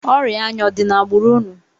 Ọrịa anya ọ dị n'agbụrụ unu?